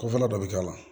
Kɔfɛla dɔ bɛ k'a la